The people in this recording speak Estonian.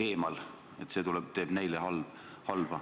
eemal, see teeb neile halba.